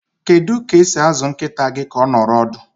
Kedu ka esi azụ nkịta gị ka ọ nọrọ ọdụ?